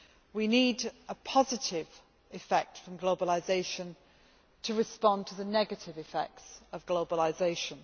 We need a positive effect from globalisation to respond to the negative effects of globalisation.